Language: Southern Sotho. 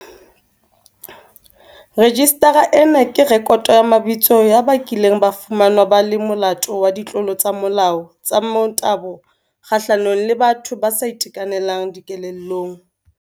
Rejistara ena ke rekoto ya mabitso ya ba kileng ba fumanwa ba le molato wa ditlolo tsa molao tsa motabo kgahlanong le bana le batho ba sa itekanelang dikelellong.